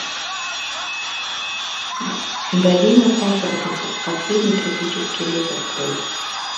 долина папоротников последний тропический лес открой